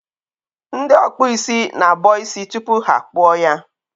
Ndị ọkpụ isi na-abọ isi tupu ha akpụọ ya.